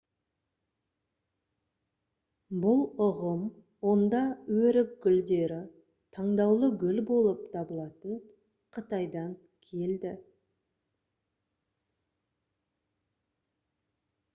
бұл ұғым онда өрік гүлдері таңдаулы гүл болып табылатын қытайдан келді